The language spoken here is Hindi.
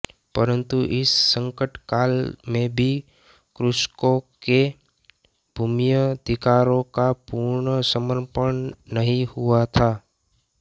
परंतु इस संकटकाल में भी कृषकों के भूम्यधिकारों का पूर्ण समर्पण नहीं हुआ था